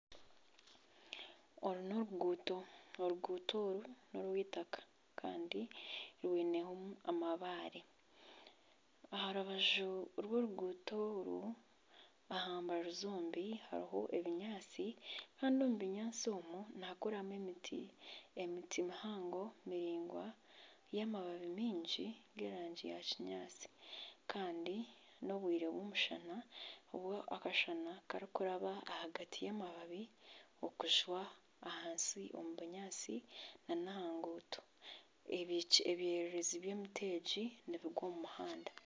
Oru n'oruguuto, oruguuto oru n'orw'eitaka kandi rwinemu amabare, aha rubaju rw'oruguuto oru aha mbaju zombi hariho ebinyaatsi kandi omu binyaatsi omwo nihakuramu emiti, emiti miraingwa y'amababi maingi g'erangi ya kinyaatsi kandi n'obwire bw'omushana kandi akashana karikuraba ahagati y'amababi okujwa ahansi omu bunyaatsi nana aha nguuto, ebyererezi by'emiti egi nibigwa omu muhanda